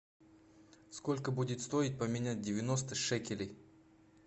сколько будет стоить поменять девяносто шекелей